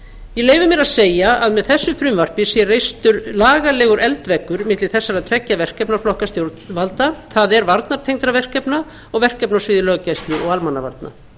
ég leyfi mér að segja að með þessu frumvarpi sé reistur lagalegur eldveggur milli þessara tveggja verkefnaflokka stjórnvalda það er varnartengdra verkefna og verkefna á sviði löggæslu og almannavarna